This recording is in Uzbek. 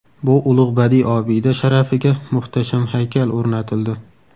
Bu ulug‘ badiiy obida sharafiga muhtasham haykal o‘rnatildi.